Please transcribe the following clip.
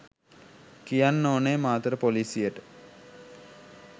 කියන්න ඕනේ මාතර පොලිසියට